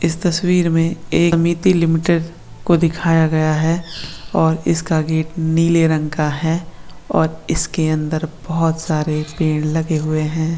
इस तस्वीर में को दिखाया गया है और इसका गेट नीले रंग का है और इसके अंदर बहुत सारे पेड़ लगे हुए है।